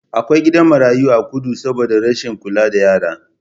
Akwai gidan marayu a kudu saboda rashin kula da yara.